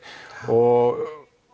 og